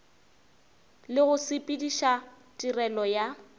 le go sepediša tirelo ya